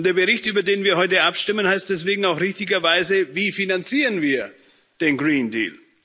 Und der Bericht, über den wir heute abstimmen, heißt deswegen auch richtigerweise Wie finanzieren wir den Green Deal